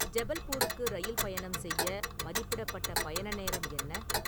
ஜபல்பூருக்கு rail பயணம் செய்ய மதிப்பிடப்பட்ட பயண நேரம் என்ன?